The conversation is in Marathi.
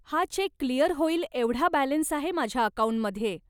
हा चेक क्लियर होईल एवढा बॅलन्स आहे माझ्या अकाऊंटमध्ये.